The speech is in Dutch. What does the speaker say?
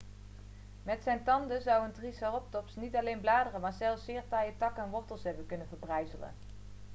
met zijn tanden zou een triceratops niet alleen bladeren maar zelfs zeer taaie takken en wortels hebben kunnen verbrijzelen